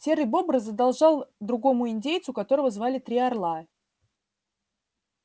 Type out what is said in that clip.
серый бобр задолжал другому индейцу которого звали три орла